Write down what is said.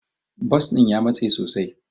Bas din ya matse sosai.